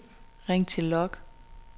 ring til log